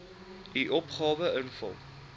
u opgawe invul